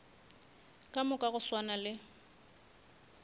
ka moka go swana le